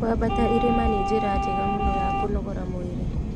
Kwambata irĩma nĩ njĩra njega mũno ya kũnogora mwĩrĩ